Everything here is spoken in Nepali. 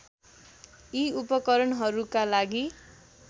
यी उपकरणहरूका लागि